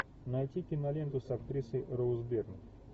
найти киноленту с актрисой роуз бирн